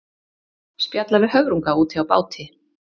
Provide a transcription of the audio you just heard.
Spjalla við höfrunga úti á báti.